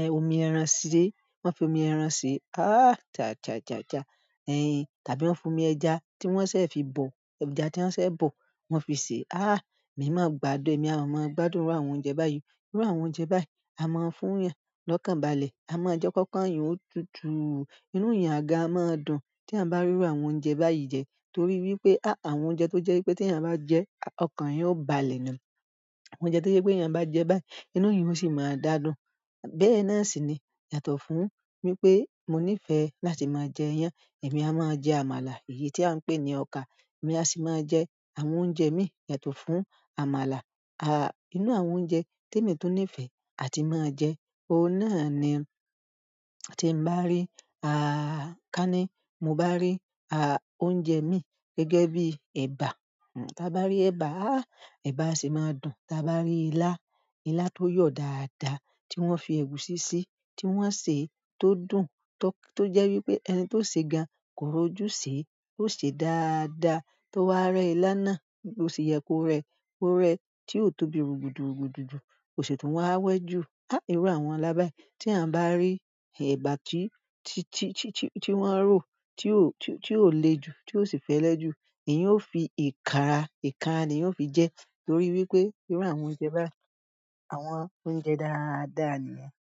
ẹ́, omi ẹran sé, wọ́n fi omi ẹran sèé. Há, taàà, taàà, taàà, taàà. Ẹyin, tàbí wọ́n fi omi ẹja tí wọ́n ṣẹ̀ fi bọ̀, ẹja tí wọ́n ṣẹ̀ bọ̀ wọ́n fi sè é. Há, èmi máa gbádùn, èmi a máa gbádùn irú àwọn oúnjẹ báyìí. Irú àwọn oúnjẹ báyìí a máa ń fún yàǹ lọ́kànbalẹ̀, a máa jẹ́ kọ́kàn yàǹ ó tutù. Inú èèyàn gan a máa dùn tí èèyàn bá rí irú àwọn oúnjẹ báyìí jẹ torí wípé áà, àwọn oúnjẹ tó jẹ́ wípé tí èèyàn bá jẹẹ́ ọkàn yí ó balẹ̀ ni. Oúnjẹ tó jẹ wípé tí èèyàn báá jẹ ẹ́ báyìí inú èèyàn ó sì máa dá dùn. Bẹ́ẹ̀ náà sì ni yàtọ̀ fún wípé mo nífẹ̀ẹ́ láti máa jẹ iyán. Èmi a máa jẹ àmàlà èyí tí à ń pè ní ọkà, èmi a sì máa jẹ àwọn oúnjẹ mí yàtọ̀ fún àmàlà. Ah, inú àwọn oúnjẹ tí èmi tó nífẹ̀ẹ́ àti máa ń jẹ, ohun náà ni tí ń bá rí, ah, ká ní mo bá rí, ah, oúnjẹ mi gẹ́gẹ́ bí ẹ̀bà. Hmm, tí a bá rí ẹ̀bà, ah, ẹ̀bà a sì máa dùn. Tí a bá rí ilá, ilá tó yọ̀ dáadáa tí wọ́n fi ẹ̀gúsí sí, tí wọ́n sè é tó dùn tó, tó jẹ́ wípé ẹni tó sè é gan kò rọ́jú sè é, ó sè é dáadáa. Tí ó wáá rẹ́ ilá náà bí ó se yẹ kó rẹ́, kó rẹ́ tí ò tóbi rùgúdùrùgúdù jù, kò sì tún wá wẹ́jù. Há, irú àwọn ilá báyìí tí à bá rí, ẹ̀bà tí, tí, tí, tí, tí, tí wọ́n rò, tí ò, tí ò le ju, tí ò sì fẹ́lẹ́ jù, èèyàn ó fi ìkàra, ìkanra ni èèyàn óò fi jẹ ẹ́ torí wípé irú àwọn oúnjẹ báyìí, àwọn oúnjẹ dáadáa nìyẹn.